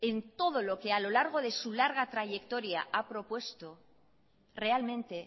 en todo lo que a lo largo de su larga trayectoria ha propuesto realmente